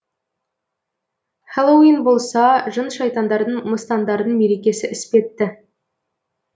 хэллоуин болса жын шайтандардың мыстандардың мерекесі іспетті